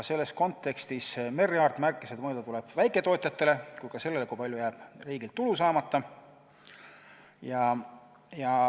Selles kontekstis Merry Aart märkis, et mõelda tuleb nii väiketootjatele kui ka sellele, kui palju jääb riigil tulu saamata.